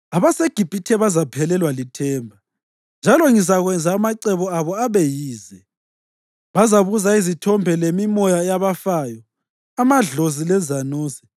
AbaseGibhithe bazaphelelwa lithemba, njalo ngizakwenza amacebo abo abe yize; bazabuza izithombe lemimoya yabafayo, amadlozi lezanuse.